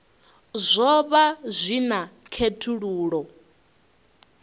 zwo vha zwi na khethululoe